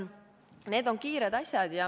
Need on kiired asjad.